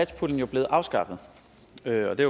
er det